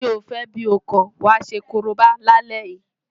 Bí o fẹ́ bí o kọ̀, wàá ṣe korobá lálẹ́ yìí!